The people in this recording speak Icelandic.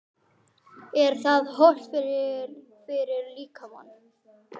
Er það hollt fyrir, fyrir líkamann?